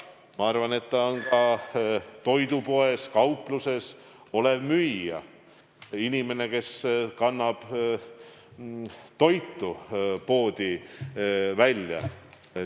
Ma arvan, et ta on ka toidupoes-kaupluses olev müüja või inimene, kes paneb poes toitu välja.